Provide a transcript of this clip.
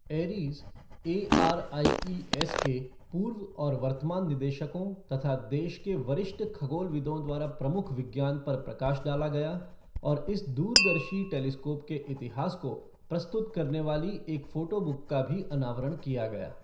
Aries ARIES के पूर्व और वर्तमान निदेशकों तथा देश के वरिष्ठ खगोलविदों द्वारा प्रमुख विज्ञान पर प्रकाश डाला गया और इस दूरदर्शी टेलिस्कोप के इतिहास को प्रस्तुत करने वाली एक फ़ोटोबुक का भी अनावरण किया गया।